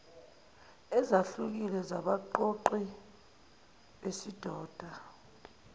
ezahlukile zabaqoqi besidoda